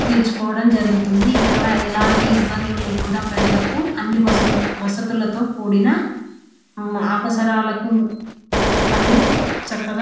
తీర్చు కోవడం జరుగుతుంది ఇక్కడ ఎలాంటి ఇబ్బందులు లేకుండా ప్రజలకు అన్ని వసతులతో కూడిన అవసరాలకు అన్ని చక్కగా.